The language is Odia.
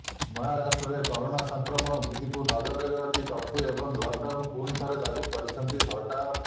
ମହାରାଷ୍ଟ୍ରରେ କରୋନା ସଂକ୍ରମଣ ବୃଦ୍ଧିକୁ ନଜରରେ ରଖି କର୍ଫ୍ୟୁ ଏବଂ ଲକ୍ଡାଉନ୍ ପୁଣି ଥରେ ଲାଗୁ କରିଛନ୍ତି ସରକାର